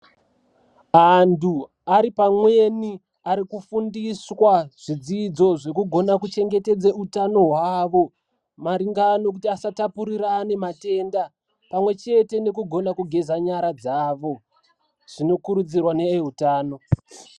Antu ari pamweni ari kufundiswa zvidzidzo zvekugona kuchengetedze utano hwavo, maringa nokuti asatapurirane matenda ,pamwe chete nekugona kugeza nyara dzavo. Zvinokurudzirwa neveutano.